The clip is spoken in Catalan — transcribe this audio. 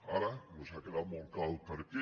ara nos ha quedat molt clar el perquè